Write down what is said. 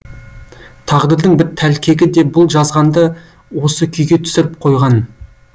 тағдырдың бір тәлкегі де бұл жазғанды осы күйге түсіріп қойған